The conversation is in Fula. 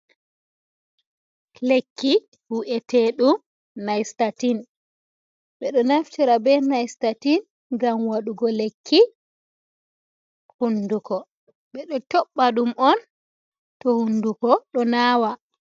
Lekki wi’ete ɗum nyt ɓeɗo naftira ɓe nystti ngam waɗugo lekki hunduko ɓeɗo cobba ɗum on to hunduko ɗo nawa.